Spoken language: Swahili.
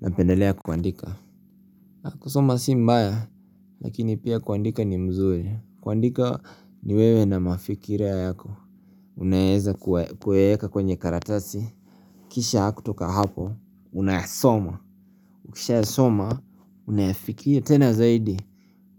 Napendelea kuandika kusoma si mbaya Lakini pia kuandika ni mzuri kuandika ni wewe na mafikira yako Unaeza kuyaeka kwenye karatasi Kisha kutoka hapo Una yasoma ukisha yasoma unayafikiria tena zaidi